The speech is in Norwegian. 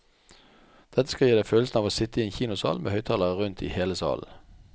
Dette skal gi deg følelsen av å sitte i en kinosal med høyttalere rundt i hele salen.